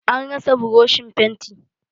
An rasa buroshin fenti.